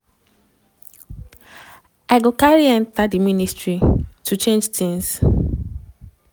im go carry enta di ministry to change tins.